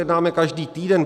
Jednáme každý týden.